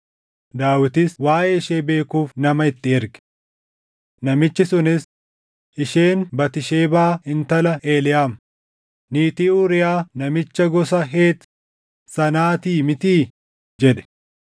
Daawitis waaʼee ishee beekuuf nama itti erge. Namichi sunis, “Isheen Batisheebaa intala Eliʼaam, niitii Uuriyaa namicha gosa Heet sanaatii mitii?” jedhe.